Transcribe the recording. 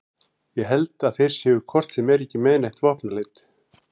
Ég held að þeir séu hvort sem er ekki með neitt vopnaleit